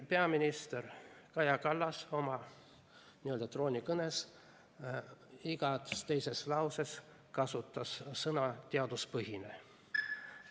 Peaminister Kaja Kallas oma n-ö troonikõnes igas teises lauses kasutas sõna "teaduspõhine".